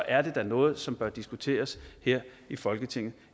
er det da noget som bør diskuteres her i folketinget